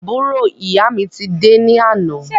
Àbúrò ìyá mi ti dé ní àná